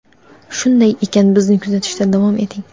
Shunday ekan, bizni kuzatishda davom eting!.